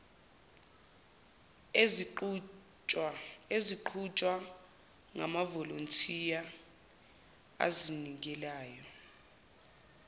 eziqhutshwa ngamavolontiya azinikelayo